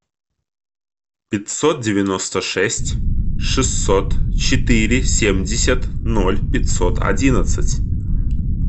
пятьсот девяносто шесть шестьсот четыре семьдесят ноль пятьсот одиннадцать